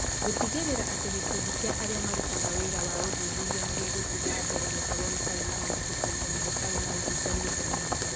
Gũtigĩrĩra atĩ gĩkundi kĩa arĩa marutaga wĩra wa ũthuthuria nĩ gĩgũthiĩ na mbere gũkorũo gĩtarĩ na mũthutũkanio na gĩtarĩ na ũhinga nĩ ũndũ mũritũ.